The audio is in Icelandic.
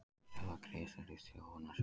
Stöðva greiðslur í Þróunarsjóð